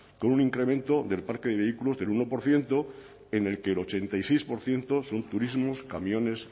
con un incremento del parque de vehículos del uno por ciento en el que el ochenta y seis por ciento son turismos camiones